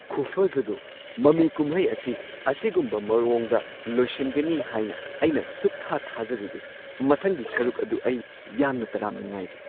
ꯈꯨꯐꯖꯗꯣ! ꯃꯃꯤ ꯀꯨꯝꯍꯩ ꯑꯁꯤ ꯑꯁꯤꯒꯨꯝꯕ ꯃꯑꯣꯡꯗ ꯂꯣꯏꯁꯤꯟꯒꯅꯤ ꯍꯥꯏꯅ ꯑꯩꯅ ꯁꯨꯛꯊꯥ -ꯊꯥꯖꯔꯨꯗꯦ꯫ ꯃꯊꯪꯒꯤ ꯁꯔꯨꯛ ꯑꯗꯨ ꯑꯩ ꯌꯥꯝꯅ ꯇꯔꯥꯝꯅ ꯉꯥꯏꯔꯤ꯫